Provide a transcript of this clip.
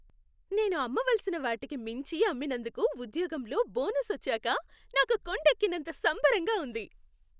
నేను అమ్మవలసిన వాటికి మించి అమ్మినందుకు ఉద్యోగంలో బోనస్ వచ్చాక నాకు కొండెక్కినంత సంబరంగా ఉంది.